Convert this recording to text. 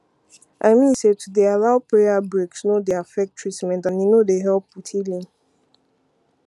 i mean say to dey allow prayer breaks no dey affect treament and e no dy help with healing